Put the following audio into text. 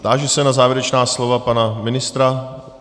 Táži se na závěrečná slova pana ministra.